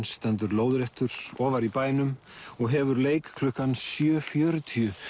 stendur lóðréttur ofar í bænum og hefur leik klukkan sjö fjörutíu